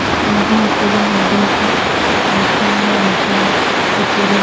নদী পুরো নদী শুন আর শূন্য আকাশ ওপরে--